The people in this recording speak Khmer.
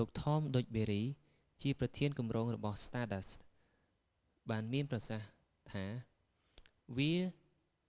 លោក ថម ឌុចប៊ើរី tom duxbury ប្រធានគម្រោងរបស់ stardust បានមានប្រសាសន៍ថាថា វា